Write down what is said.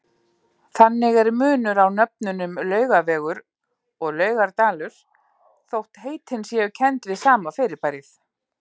Þannig er munur á nöfnunum Laugavegur og Laugardalur þótt heitin séu kennd við sama fyrirbærið.